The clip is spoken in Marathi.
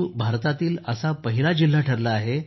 दीव भारतातील असा पहिला जिल्हा ठरला आहे